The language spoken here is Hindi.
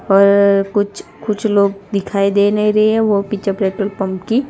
पर कुछ कुछ लोग दिखाई दे नहीं रहे हैं वो पिक्चर पेट्रोल पंप की--